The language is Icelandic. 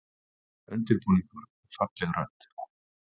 Undirbúningur og falleg rödd